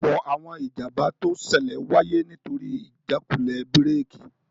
Ọ̀pọ̀ àwọn ìjàmbá tó ṣẹlẹ̀ wáyé nítorí ìjákulẹ̀ búrèkì